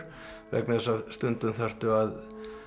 vegna þess að stundum þarftu að